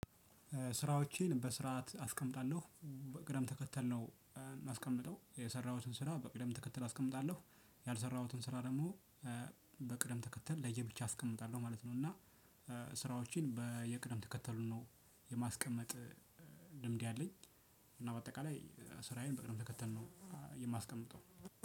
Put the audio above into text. ስራዎቼን በስርዓት አስቀምጣለሁ በቅደም ተከተል ነው የማስቀምጠው የሰራሁትን ስራ በቅደም ተከተል አስቀምጣለሁ ያልሰራሁትን ስራ ደግሞ በቅደም ተከተል ለየብቻ አስቀምጣለሁ ማለት ነው። እና ስራዎችን በየቅድመ ተከተሉ ማስቀመጥ ልምዱ አለኝ። እና በአጠቃላይ ስራዬን በቅድመ ተከተል ነው። ማስቀምጠው